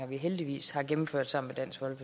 vi heldigvis har gennemført sammen